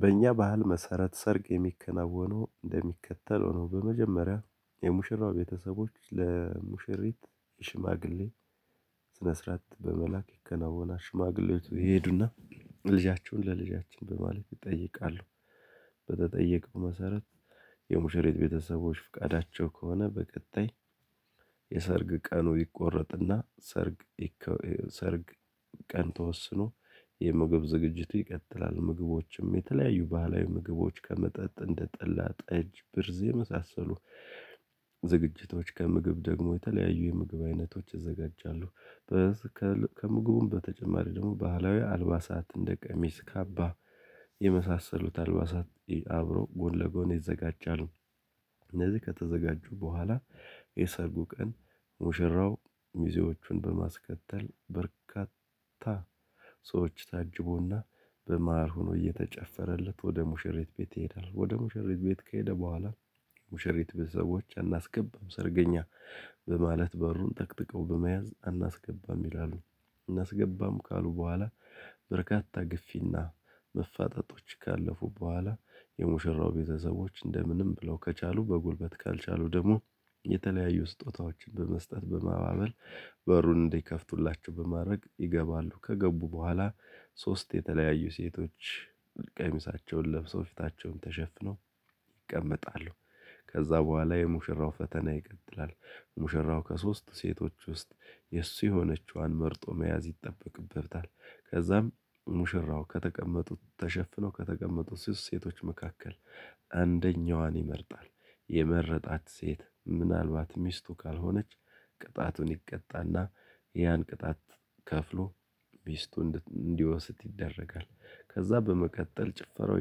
በእኛ ባህል መሰረት ሰርግ የሚከናወነው እንደሚከተለው ነው በመጀመሪያ የሙሽራው ቤተሰቦች ለሙሽሪት ሽማግሌ ስነ ስርዓት በመላክ ይከናወናል ሽማግሌዎቹ ይሄዱና ልጃችሁን ለልጃችን በማለት ይጠይቃሉ በተጠየቀው መሰረት የሙሸሪት ቤተሰቦች ፍቃዳቸው ከሆነ በቀጣይ የሰርግ ቀኑ ይቆረጥና ሰርግ ሰርግ ቀን ተወስኖ የምግብ ዝግጅቱ ይቀጥላል። ምግቦችም የተለያዩ ባህላዊ ምግቦች ከመጠጥ እንደጠላ ጠጅ ብርዝ የመሳሰሉ ዝግጅቶች ከምግብ ደግሞ የተለያዩ የምግብ አይነቶች ይዘጋጃሉ ከምግቡም በተጨማሪ ደግሞ ባህላዊ አልባሳት እንደ ቀሚስ ካባ የመሳሰሉት አልባሳት አብሮ ጎን ለጎን ይዘጋጃሉ እነዚህ ከተዘጋጁ በኋላ የሰርጉ ቀን ሙሽራው ሙዚዎቹን በማስከተል በርካታ ሰዎች ታጅቦና በመሃል ሆኖ እየተጨፈረለት ወደ ሙሽሪት ቤት ይሄዳል። ወደ ሙሽሪት ቤት ከሄደ በኋላ ሙሽሪት ቤተሰቦች አናስገባም ሰርገኛ በማለት በሩን ጠቅጥቀው በመያዝ አናስገባም ይላሉ። አናስገባም ካሉ በኋላ በርካታ ግፊና መፋጠጦች ካለፉ በኋላ የሙሽራው ቤተሰቦች እንደምንም ብለው ከቻሉ በጉልበት ካልቻሉ ደግሞ የተለያዩ ስጦታዎችን በመስጠት በማባበል በሩን እንዲከፍቱላቸው በማድረግ ይገባሉ ከገቡ በኋላ ሶስት የተለያዩ ሴቶች ቀሚሳቸውን ለብሰው ፊታቸውን ተሸፍነው ይቀመጣሉ ከዛ በኋላ የሙሽራው ፈተና ይቀጥላል ሙሽራው ከሶስት ሴቶች ውስጥ የእሱ የሆነችዋን መርጦ መያዝ ይጠበቅበታል ከዛም ሙሽራው ከተቀመጡት ተሸፍነው ከተቀመጡት ሶስት ሴቶች መካከል አንደኛዋን ይመርጣል። የመረጣት ሴት ምናልባት ሚስቱ ካልሆነች ቅጣቱን ይቀጣና ያን ቅጣት ከፍሎ ሚስቱን እንዲወስድ ይደረጋል። ከዛ በመቀጠል ጭፈራው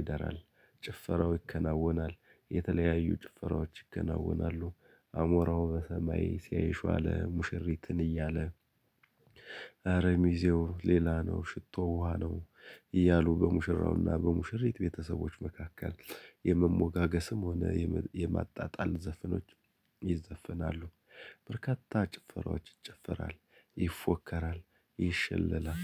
ይደራል። ጭፈራው ይከናወናል። የተለያዩ ጭፈራዎች ይከናወናሉ 'አሞራው በሰማይ ሲያይሽ ዋለ' ሙሽሪትን እያለ 'አረ ሚዜው ሌላ ነው ሽቶው ውሃ ነው' እያሉ በሙሽራውና በሙሽሪት ቤተሰቦች መካከል የመሞጋገስም ሆነ የማጣጣል ዘፈኖች ይዘፍናሉ በርካታ ጭፈራወች ይጨፈራል ይፎከራል ይሸለላል